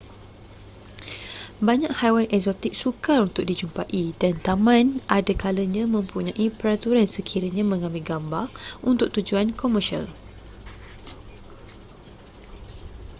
banyak haiwan eksotik sukar untuk dijumpai dan taman ada kalanya mempunyai peraturan sekiranya mengambil gambar untuk tujuan komersial